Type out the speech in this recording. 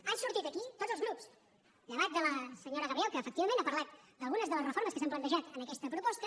han sortit aquí tots els grups llevat de la senyora gabriel que efectivament ha parlat d’algunes de les reformes que s’han plantejat en aquesta proposta